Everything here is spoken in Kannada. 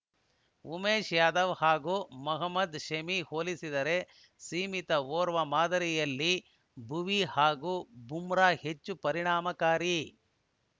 ಉಮೇಶ್‌ ಯಾದವ್‌ ಹಾಗೂ ಮೊಹಮದ್‌ ಶಮಿಗೆ ಹೋಲಿಸಿದರೆ ಸೀಮಿತ ಓವರ್‌ ಮಾದರಿಯಲ್ಲಿ ಭುವಿ ಹಾಗೂ ಬೂಮ್ರಾ ಹೆಚ್ಚು ಪರಿಣಾಮಕಾರಿ